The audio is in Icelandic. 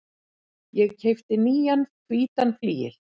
Ég keypti nýjan hvítan flygil.